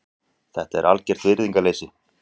Þetta er algert virðingarleysi.